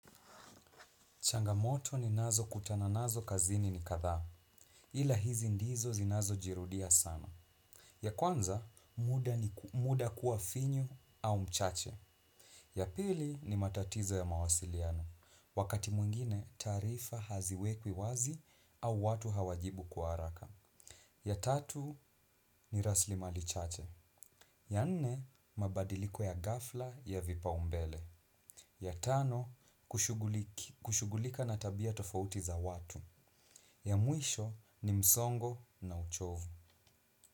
Changamoto ninazo kutana nazo kazini ni katha, ila hizi ndizo zinazojirudia sana. Ya kwanza, muda ni muda kuafinyu au mchache. Ya pili ni matatizo ya mawasiliano, wakati mwingine taarifa haziwekwi wazi au watu hawajibu kwa haraka. Ya tatu ni raslimali chache. Ya anne, mabadiliko ya gafla ya vipaumbele. Ya tano, kushugulika na tabia tofauti za watu. Ya mwisho ni msongo na uchovu.